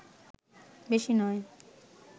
বেশি নয়